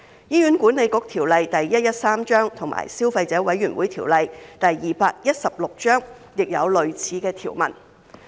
《醫院管理局條例》及《消費者委員會條例》亦有類似的條文。